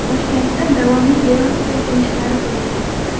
Toshkentda davomli yerosti silkinishlari sezildi .